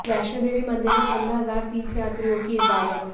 वैष्णो देवी मंदिर में पंद्रह हजार तीर्थयात्रियों की इजाजत